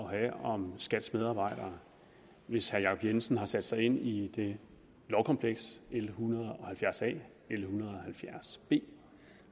have om skats medarbejdere hvis herre jacob jensen har sat sig ind i lovkomplekset l en hundrede og halvfjerds a og l en hundrede og halvfjerds b